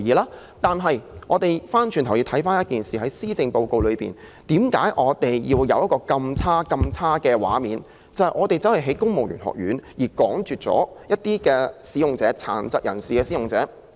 然而，我倒想問一個問題：為何施政報告會展示如此差勁的畫面，即為了興建公務員學院而趕絕展亮技能發展中心的殘疾人士使用者？